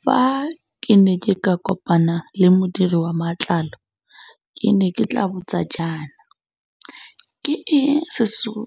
Fa ke ne ke ka kopana le modiri wa matlao ke ne ke tla botsa jaana, ke eng se se go